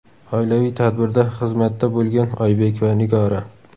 Oilaviy tadbirda xizmatda bo‘lgan Oybek va Nigora .